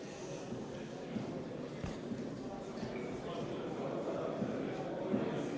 Istungi lõpp kell 15.03.